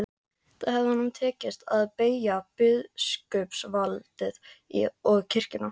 Þá hefði honum tekist að beygja biskupsvaldið og kirkjuna.